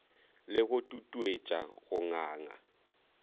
le go tutuetša go nganga